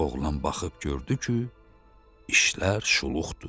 Oğlan baxıb gördü ki, işlər şuluqdur.